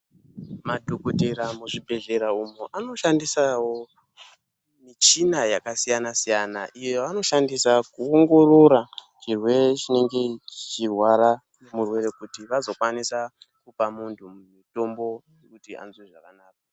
Madhokotera mu zvibhedhlera umo ano shandisawo michina yaka siyana siyana iyo yavano shandisa ku ongorora chirwere chinenge chichi rwara murwere kuti vazo kwanisa kupa muntu mutombo kuti anzwe zvakanaka.